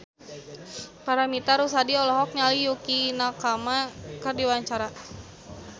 Paramitha Rusady olohok ningali Yukie Nakama keur diwawancara